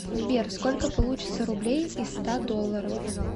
сбер сколько получится рублей из ста долларов